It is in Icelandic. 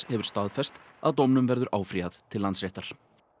hefur staðfest að dómnum verður áfrýjað til Landsréttar